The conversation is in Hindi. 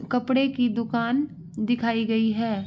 कपड़े की दुकान दिखाई गयी है।